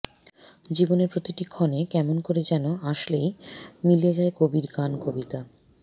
জীবনের প্রতিটি ক্ষণে কেমন করে যেন আসলেই মিলে যায় কবির গান কবিতা